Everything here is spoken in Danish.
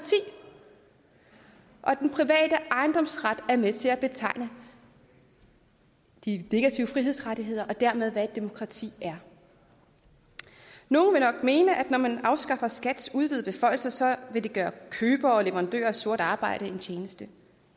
og den private ejendomsret er med til at betegne de negative frihedsrettigheder og dermed hvad et demokrati er nogle vil nok mene at når man afskaffer skats udvidede beføjelser vil det gøre købere og leverandører af sort arbejde en tjeneste